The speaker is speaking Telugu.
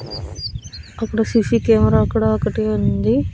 అక్కడ సీసీ కెమరా కూడా ఒకటి ఉంది.